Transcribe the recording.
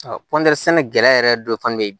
kɔntɛri sɛnɛkɛla yɛrɛ dɔ fana bɛ ye